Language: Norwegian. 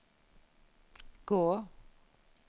gå